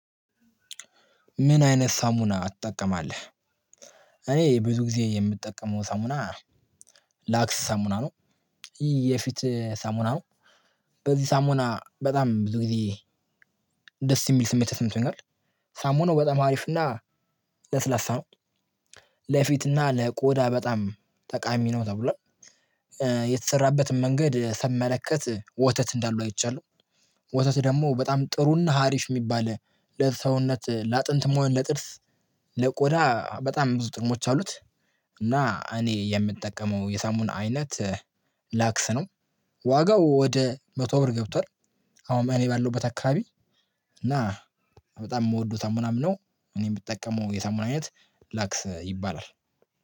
ምን አይነት ሳሙና ትጠቀማለህ? እኔ ብዙ ጊዜ የምጠቀመው ሳሙና ላክስ ሳሙና ነው የፊት ሳሙና ነው። በዚህ ሳሙና በጣም ብዙ ጊዜ ደስ የሚል ስሜት ተሰምቶኛል። ሳሙናው በጣም አሪፍ እና ለስላሳ ነው። ለፊትና ለቆዳ በጣም ጠቃሚ ነው ተብሏል። የተሰራበትን መንገድ ስመለከት ወተት እንዳለው አይቻለሁ። ወተት ደግሞ በጣም ጥሩና ሀሪፍ የሚባል ለሰውነት ለአጥንትም ሆነ ለጥርስ ለቆዳ በጣም ብዙ ጥቅሞች አሉት። እና እኔ የምጠቀመው የሳሙና አይነት ላክስ ነው። ዋጋው ወደ መቶ አብር ገብቷል። አሁን እኔ ባለውበት አካባቢ እና በጣም የምወደው ሳሙና ነው። እኔ ምጠቀመው የሳሙና አይነት ላክስ ይባላል።